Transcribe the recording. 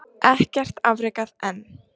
Ekkert afrekað enn